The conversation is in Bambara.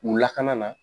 U lakana na